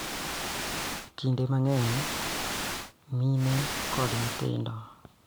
Kinde mang�eny mine kod nyithindo .